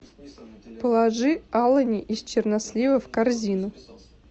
положи алани из чернослива в корзину